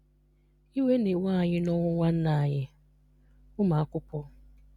Iwe na-ewe anyị nọnwụ nwanne anyị - ụmụakwụkwọ.